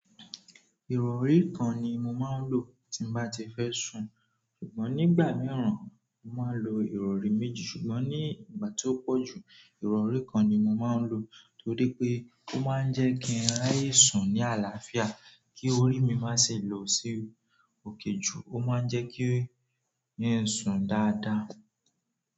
Ìrọ̀rí kan ni mo máa ń lò tí bá ti fẹ́ sùn, ṣùgbọ́n nígbà mìíràn mo máa ń lò ìrọ̀rí méjì ṣùgbọ́n ní ìgbà tó pọ̀jù ìrọ̀rí kan ni mo máa ń lò torí pé ó máa ń jẹ́ kí raye sùn ní àlàáfíà kí orí mi má ṣe lọ sí òkè ju ó máa ń jẹ́ kí yín sùn dáadáa.